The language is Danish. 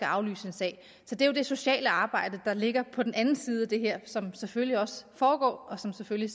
aflyse en sag så det er jo det sociale arbejde der ligger på den anden side af det her som selvfølgelig også foregår og som selvfølgelig